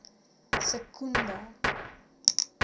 secunda